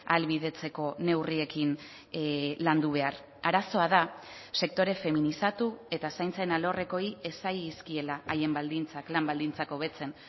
ahalbidetzeko neurriekin landu behar arazoa da sektore feminizatu eta zaintzen alorrekoei ez zaizkiela haien baldintzak lan baldintzak hobetzen